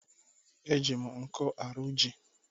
E jì m nkụ arụ jí.